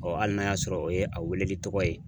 hali n'a y'a sɔrɔ o ye a weleli tɔgɔ ye